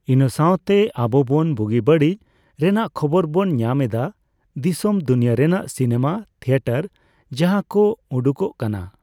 ᱤᱱᱟᱹ ᱥᱟᱣᱛᱮ ᱟᱵᱚ ᱵᱚᱱ ᱵᱩᱜᱤ ᱵᱟᱹᱲᱤᱡ ᱨᱮᱱᱟᱜ ᱠᱷᱚᱵᱚᱨ ᱵᱚᱱ ᱧᱟᱢ ᱮᱫᱟ ᱫᱤᱥᱚᱢ ᱫᱩᱱᱤᱭᱟᱹ ᱨᱮᱱᱟᱜ ᱥᱤᱱᱮᱢᱟ ᱛᱷᱤᱭᱮᱴᱟᱨ ᱡᱟᱦᱟᱸ ᱠᱚ ᱩᱰᱩᱝᱚᱜ ᱠᱟᱱᱟ